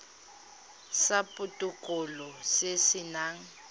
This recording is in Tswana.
sa botokololo se se nang